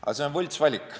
Aga see on võltsvalik.